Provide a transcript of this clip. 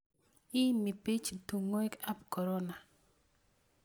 Iimi piich tung'wek ap korona